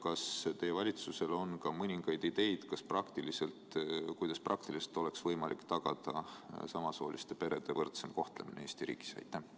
Kas teie valitsusel on mõningaid ideid, kuidas praktiliselt oleks võimalik tagada samasooliste perede võrdsem kohtlemine Eesti riigis?